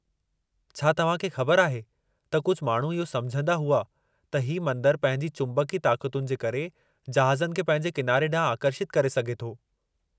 छा तव्हां खे ख़बर आहे त कुझु माण्हू इहो समुझंदा हुआ त ही मंदरु पंहिंजी चुबंकी ताक़तुनि जे करे जहाज़नि खे पंहिंजे किनारे ॾांहुं आकर्षितु करे सघे थो?